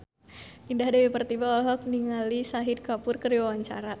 Indah Dewi Pertiwi olohok ningali Shahid Kapoor keur diwawancara